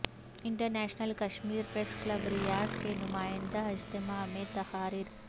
international Kashmir press club Riyadh کے نمائندہ اجتماع میں تقاریر